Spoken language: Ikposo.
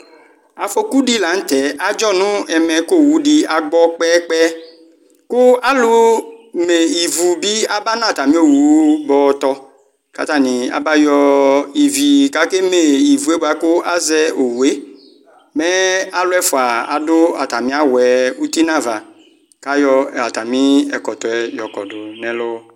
afɔkudilanutɛ agɔnu ɛmɛ kɔ owudi abɔ kɛyɛ kɛyɛ ku alɔ mɛɩvɔbi aba nu atani ɔwɔ bɔtɔ ka atani ayɔ ivi kɛmɛ ɩvɛ bakʊazɛ ɔyɛ mɛ alɔafă dɔ ataniăyu bɔɛ ɔtɩ nu aʋa kayɔmɩ wɔkubɔ nu ɛlɔ